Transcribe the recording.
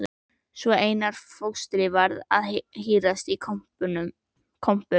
Svo Einar fóstri varð að hírast í kompum.